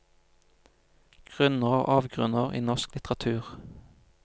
Grunner og avgrunner i norsk littratur.